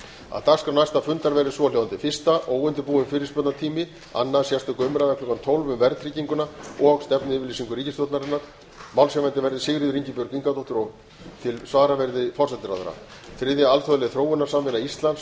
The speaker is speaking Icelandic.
að fyrstu mál á dagskrá næsta fundar verði eftirfarandi liðir fyrsta óundirbúnar fyrirspurnir annað sérstök umræða klukkan tólf núll núll um verðtrygginguna og stefnuyfirlýsingu ríkisstjórnarinnar málshefjandi verði sigríður ingibjörg ingadóttir og til svara verði forsætisráðherra þriðja alþjóðleg þróunarsamvinna íslands